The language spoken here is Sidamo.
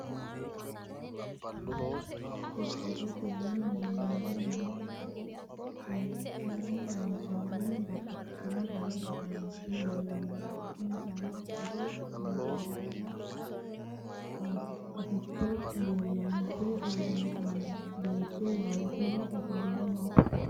Qorqorrotenni minnoonni mini mule leemmiichunni loonsoonni babbaxino Dani uduunni leellanno insano soro, gimboollanna qaficho loonse uurrinsoonni. Beettu waalchoho ofolle no.